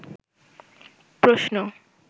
প্রশ্ন